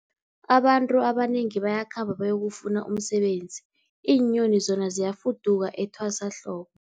Abantu abanengi bayakhamba bayokufuna umsebenzi, iinyoni zona ziyafuduka etwasahlobo.